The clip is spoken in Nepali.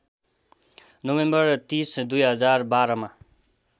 नोभेम्बर ३० २०१२ मा